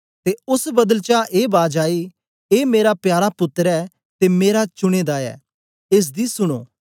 ते ओस बदल चा ए बाज आई ए मेरा प्यारा पुत्तर ऐ ते मेरा चुने दा ऐ एस दी सुनो